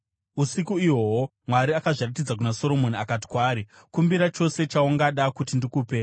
Usiku ihwohwo Mwari akazviratidza kuna Soromoni akati kwaari, “Kumbira chose chaungada kuti ndikupe.”